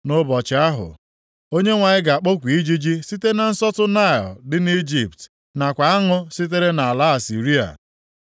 Nʼụbọchị ahụ, Onyenwe anyị ga-akpọku ijiji site na nsọtụ Naịl dị nʼIjipt nakwa aṅụ sitere nʼala Asịrịa.